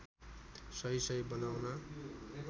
सही सही बनाउन